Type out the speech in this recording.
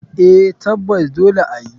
Eh tabbas dole ayi.